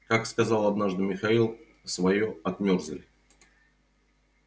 как сказал однажды михаил своё отмёрзли